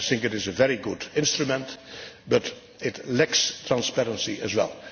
I think it is a very good instrument but it lacks transparency as well.